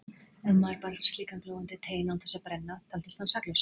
Ef maður bar slíkan glóandi tein án þess að brenna taldist hann saklaus.